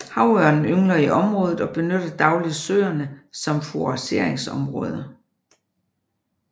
Havørnen yngler i området og benytter dagligt søerne som fourageringsområde